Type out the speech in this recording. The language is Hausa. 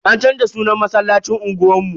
An canza sunan masallacin unguwar mu.